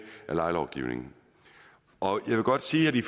af lejelovgivningen jeg vil godt sige at vi